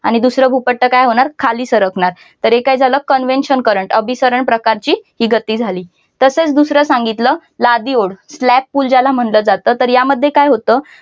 आणि दुसरा भूपट्ट काय होणार खाली सरकणार तर हे काय झालं convection current अभिसरण प्रकारची ही गती झाली तसेच दुसर सांगितल लादी ओढ slab pull ज्याला म्हटलं जातं तर यामध्ये काय होतं.